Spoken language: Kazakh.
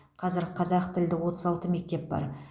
қазір қазақ тілді отыз алты мектеп бар